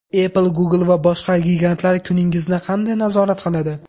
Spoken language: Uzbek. Apple, Google va boshqa gigantlar kuningizni qanday nazorat qiladi?.